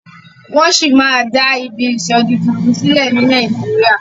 wón sí dá Ìbí isodi títún sílè ní Nàìjíríà.